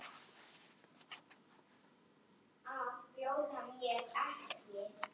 Hún potaði í ísinn.